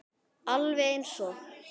Alveg eins og